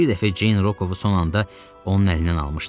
Bir dəfə Ceyn Rokovu son anda onun əlindən almışdı.